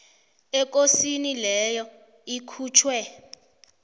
ekosini leyo ikhutjhwe